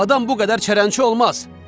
Adam bu qədər çərəncə olmaz.